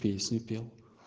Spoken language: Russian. песню пел